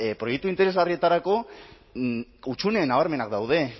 proiektu interesgarrietako hutsune nabarmenak daude